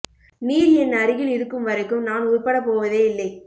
நீர் என் அருகில் இருக்கும் வரைக்கும் நான் உறுப்படப் போவதே இல்லை